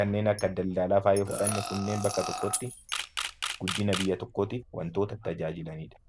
kanneen akka daldalaafaa yoo fudhanne bakka tokkotti warra tajaajilaniidha